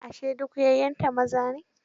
Ashe duk 'ya'yanta maza ne?